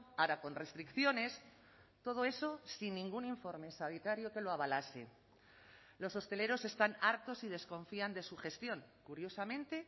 ahora con restricciones todo eso sin ningún informe sanitario que lo avalase los hosteleros están hartos y desconfían de su gestión curiosamente